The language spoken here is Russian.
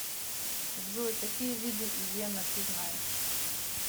джой какие виды иена ты знаешь